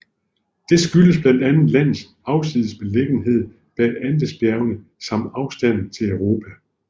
Det skyldes blandt andet landets afsides beliggenhed bag Andesbjergene samt afstanden til Europa